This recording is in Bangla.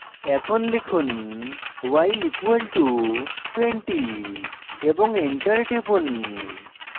এখন লিখুন y = 20 এবং enter টিপুন